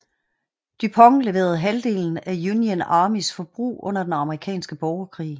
DuPont leverede halvdelen af Union Armys forbrug under den amerikanske borgerkrig